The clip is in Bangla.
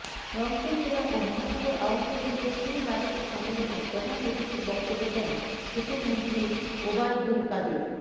রংপুর জেলা ও মহানগর আওয়ামী লীগের ত্রিবার্ষিক সম্মেলনে প্রধান অতিথির বক্তব্য দেন সেতুমন্ত্রী ওবায়দুল কাদের